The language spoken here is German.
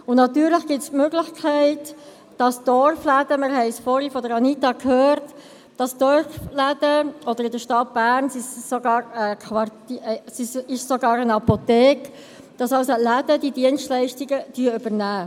Und natürlich besteht die Möglichkeit, dass Dorfläden, wir haben es vorhin von Anita Luginbühl-Bachmann gehört, dass Dorfläden – in der Stadt Bern sind es sogar Quartier … ist es sogar eine Apotheke –, dass also Läden diese Dienstleistungen übernehmen.